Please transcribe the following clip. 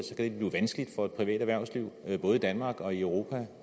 det blive vanskeligt for et privat erhvervsliv både i danmark og i europa